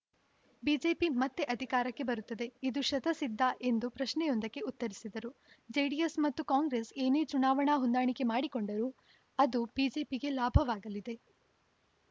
BJP ಮತ್ತೆ ಅಧಿಕಾರಕ್ಕೆ ಬರುತ್ತದೆ ಇದು ಶತಃ ಸಿದ್ಧ ಎಂದು ಪ್ರಶ್ನೆಯೊಂದಕ್ಕೆ ಉತ್ತರಿಸಿದರು ಜೆಡಿಎಸ್‌ ಮತ್ತು ಕಾಂಗ್ರೆಸ್‌ ಏನೇ ಚುನಾವಣಾ ಹೊಂದಾಣಿಕೆ ಮಾಡಿಕೊಂಡರೂ ಅದು ಬಿಜೆಪಿಗೆ ಲಾಭವಾಗಲಿದೆ